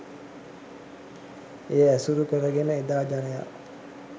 එය ඇසුරු කරගෙන එදා ජනයා